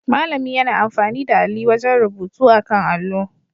Malami yana amfani da alli wajen rubutu akan allo